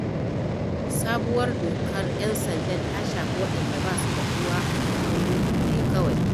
Sabuwar dokar 'yan sanda ta shafi waɗanda ba su da uwa a gidin murhu ne kawai.